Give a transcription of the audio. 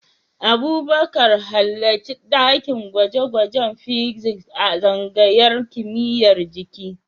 Abubakar, halarci dakin gwaje-gwajen Physics a tsangayar kimiyyar jiki.